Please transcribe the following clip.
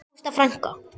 Ágústa frænka.